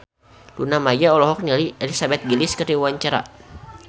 Luna Maya olohok ningali Elizabeth Gillies keur diwawancara